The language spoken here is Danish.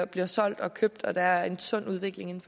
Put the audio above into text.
bliver solgt og købt og der er en sund udvikling